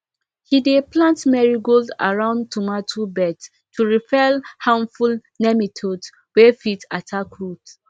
he dey plant marigold around tomato beds to repel harmful nematodes wey fit attack roots